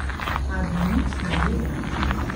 A da nič ne delam?